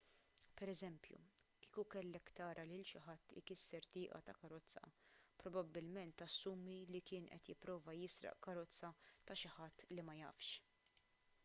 pereżempju kieku kellek tara lil xi ħadd ikisser tieqa ta' karozza probabbilment tassumi li kien qed jipprova jisraq karozza ta' xi ħadd li ma jafx